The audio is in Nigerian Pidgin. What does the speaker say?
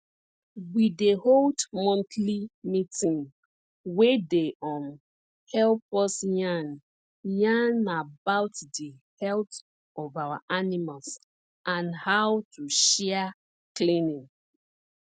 we dey hold monthly meeting wey dey um help us yarn yarn about di health of our animals and how to share cleaning